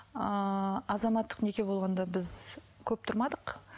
ыыы азаматтық неке болғанда біз көп тұрмадық